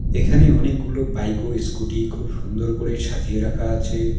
এখানে অনেকগুলো বাইক ও স্কুটি খুব সুন্দর করে সাজিয়ে রাখা আছে।